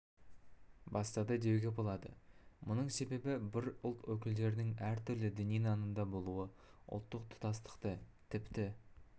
бастады деуге болады мұның себебі бір ұлт өкілдерінің әртүрлі діни нанымда болуы ұлттық тұтастықты тіпті